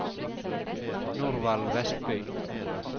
Norvald Westby